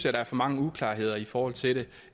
at der er for mange uklarheder i forhold til